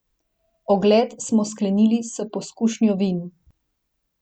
Ogled smo sklenili s pokušnjo vin.